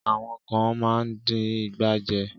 Àwọn kán máa ń dín ìgbà jẹ.